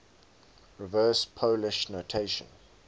reverse polish notation